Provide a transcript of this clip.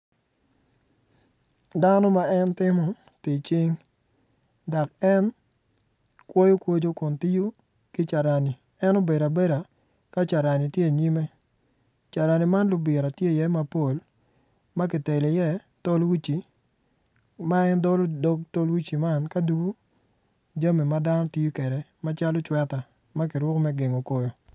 Dano ma en timo tic cing dok en kwoyo kwoco kun tiyo ki carani en obedo abeda ka carani tye inyime carani man libira tye iye mapol ka kitelo iye tol uci ma en dolo dog tol uci man ka dugo jami ma dano tiyo kwede maclo cweta me gengo koyo.